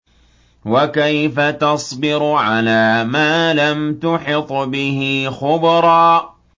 وَكَيْفَ تَصْبِرُ عَلَىٰ مَا لَمْ تُحِطْ بِهِ خُبْرًا